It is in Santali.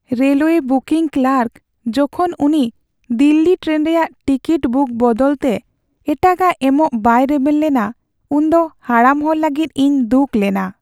ᱨᱮᱞᱳᱣᱮ ᱵᱩᱠᱤᱝ ᱠᱞᱟᱨᱠ ᱡᱚᱠᱷᱚᱱ ᱩᱱᱤ ᱫᱤᱞᱞᱤ ᱴᱨᱮᱱ ᱨᱮᱭᱟᱜ ᱴᱤᱠᱤᱴ ᱵᱩᱠ ᱵᱚᱫᱚᱞᱛᱮ ᱮᱴᱟᱜᱟᱜ ᱮᱢᱚᱜ ᱵᱟᱭ ᱨᱮᱵᱮᱱ ᱞᱮᱱᱟ ᱩᱱᱫᱚ ᱦᱟᱲᱟᱢ ᱦᱚᱲ ᱞᱟᱹᱜᱤᱫ ᱤᱧ ᱫᱩᱠ ᱞᱮᱱᱟ ᱾